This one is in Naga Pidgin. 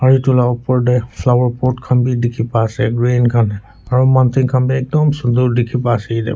etu la opor dae flower pot khan bi dikipa asae green khan aro mountain khan bi ekdum sundur diki pa asae.